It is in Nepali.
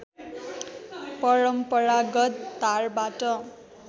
परम्परागत धारबाट